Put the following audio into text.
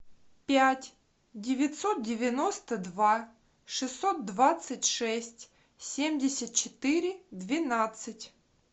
пять девятьсот девяносто два шестьсот двадцать шесть семьдесят четыре двенадцать